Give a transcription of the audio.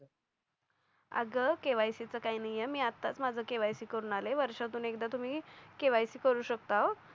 आग केवायसी च काही नाही आहे मी आताच माझ केवायसी करून आलय वर्षातून एकदा तुम्ही केवायसी करू शकता अं